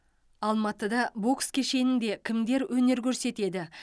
алматыда бокс кешенінде кімдер өнер көрсетеді